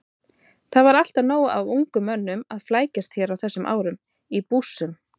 Það var alltaf nóg af ungum mönnum að flækjast hér á þessum árum- í bússum.